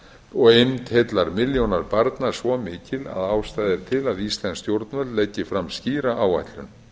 og eymd heillar milljónar barna svo mikil að ástæða er til að íslensk stjórnvöld leggi fram skýra áætlun